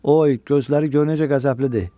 Oy, gözləri görün necə qəzəblidir.